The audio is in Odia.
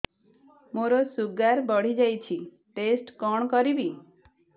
ମୋର ଶୁଗାର ବଢିଯାଇଛି ଟେଷ୍ଟ କଣ କରିବି